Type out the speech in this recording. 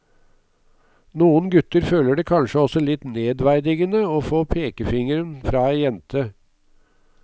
Noen gutter føler det kanskje også litt nedverdigende å få pekefingeren fra ei jente.